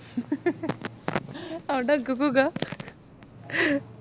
അതോണ്ട് അനക്ക് സുഖാ